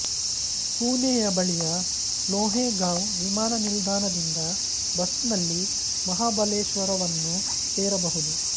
ಪುಣೆಯ ಬಳಿಯ ಲೋಹೆ ಗಾಂವ್ ವಿಮಾನ ನಿಲ್ದಾಣ ದಿಂದ ಬಸ್ ನಲ್ಲಿ ಮಹಾಬಲೇಶ್ವರವನ್ನು ಸೇರಬಹುದು